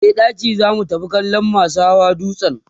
e dake zamu tafi kallan masu Hawa dutsen